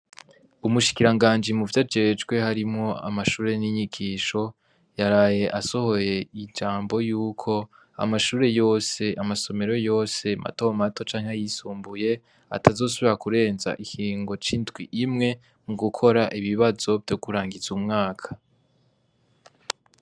Umushikiranganji muvyo ajejwe harimwo amashure n'inyigisho yaraye asohoye ijambo yuko amashure yose, amasomero yose mato mato, canke ayisumbuye atazosubira kurenza ikiringo c'indwi imwe mu gukora ibibazo vyo kurangiza umwaka.